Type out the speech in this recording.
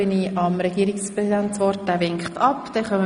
Der Regierungspräsident möchte sich ebenfalls nicht äussern.